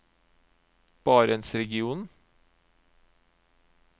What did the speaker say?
barentsregionen